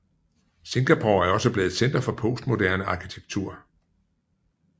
Singapore er også blevet et center for postmoderne arkitektur